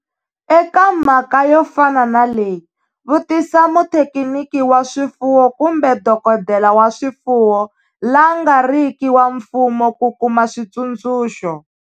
Eka mhaka yo fana na leyi, vutisa muthekiniki wa swifuwo kumbe dokodela wa swifuwo la nga ri ki wa mfumo ku kuma switsundzuxo.